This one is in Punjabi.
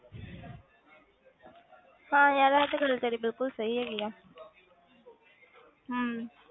ਹਾਂ ਯਾਰ ਇਹ ਤੇ ਗੱਲ ਤੇਰੀ ਬਿਲਕੁਲ ਸਹੀ ਹੈਗੀ ਹੈ ਹਮ